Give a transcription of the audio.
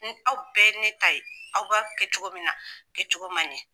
Ni aw bɛɛ ye ne ta ye, aw b'a kɛ cogo min na kɛ cogo man ɲɛ.